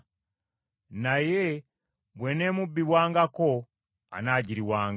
Naye bw’eneemubbibwangako, anaagiriwanga.